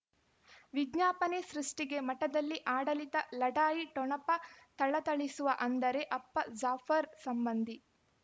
ವಿಜ್ಞಾಪನೆ ಸೃಷ್ಟಿಗೆ ಮಠದಲ್ಲಿ ಆಡಳಿತ ಲಢಾಯಿ ಠೊಣಪ ಥಳಥಳಿಸುವ ಅಂದರೆ ಅಪ್ಪ ಜಾಫರ್ ಸಂಬಂಧಿ